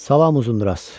Salam Uzunduraz.